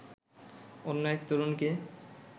অন্য এক তরুণকে